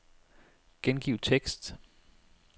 Gengiv tekst.